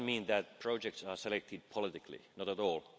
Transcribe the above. This doesn't mean that projects are selected politically not at all.